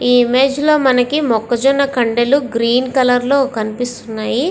ఈ ఇమేజ్ లో మనకి మొక్కజొన్న కండెలు గ్రీన్ కలర్ లో కనిపిస్తున్నాయి.